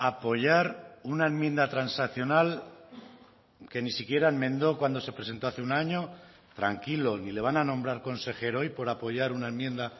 apoyar una enmienda transaccional que ni siquiera enmendó cuando se presentó hace un año tranquilo ni le van a nombrar consejero hoy por apoyar una enmienda